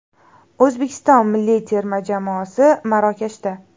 O‘zbekiston milliy terma jamoasi Marokashda .